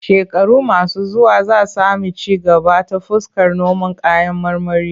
Shekaru masu zuwa za sami ci gaba ta fuskar noman kayan marmari.